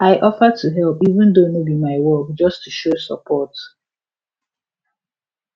i offer to help even though no be my work just to show support